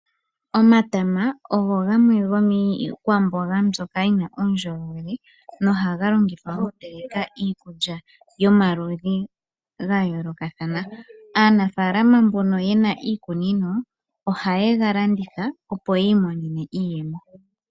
Omatama ogo gamwe gomiikwamboga mbyono yi na uundjolowele nohaga longithwa okuteleka iikulya yomaludhi gayoolokathana. Aanafaalama mbono ye na iikunino ohaye ga landitha, opo yi imonene mo iiyemo.